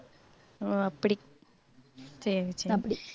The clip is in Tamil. ஓ அப்படி சரி சரி